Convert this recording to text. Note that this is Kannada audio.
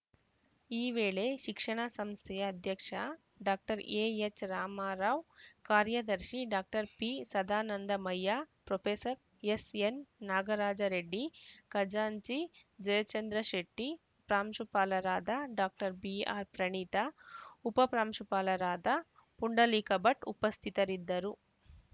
ಈ ವೇಳೆ ಶಿಕ್ಷಣ ಸಂಸ್ಥೆಯ ಅಧ್ಯಕ್ಷ ಡಾಕ್ಟರ್ ಎಎಚ್‌ರಾಮರಾವ್‌ ಕಾರ್ಯದರ್ಶಿ doctor ಪಿಸದಾನಂದ Mayya professor SN Nagaraja Reddy ಖಜಾಂಚಿ ಜಯಚಂದ್ರಶೆಟ್ಟಿ ಪ್ರಾಂಶುಪಾಲರಾದ ಡಾಕ್ಟರ್ ಬಿಆರ್‌ಪ್ರಣೀತಾ ಉಪಪ್ರಾಂಶುಪಾಲರಾದ ಪುಂಡಲೀಕ ಭಟ್‌ ಉಪಸ್ಥಿತರಿದ್ದರು